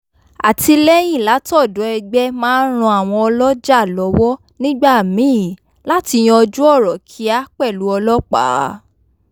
àtìlẹ́yìn látọ̀dọ̀ ẹgbẹ́ máa ń ran àwọn ọlọ́jà lọ́wọ́ nígbà míì láti yanjú ọ̀rọ̀ kíá pẹ̀lú ọlọ́pàá